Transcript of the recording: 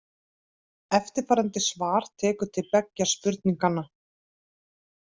Eftirfarandi svar tekur til beggja spurninganna.